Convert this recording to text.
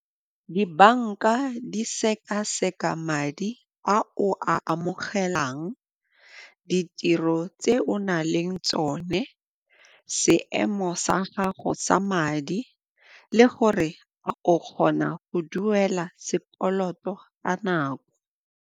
Dibanka di sekaseka madi a o a amogelang, ditiro tse o na leng tsone, seemo sa gago sa madi le gore a o kgona go duela sekoloto ka nako.